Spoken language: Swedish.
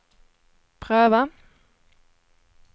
pröva